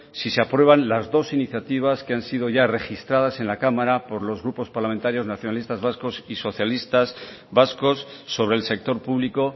si se aprueban las dos iniciativas que han sido ya registradas en la cámara por los grupos parlamentarios nacionalistas vascos y socialistas vascos sobre el sector público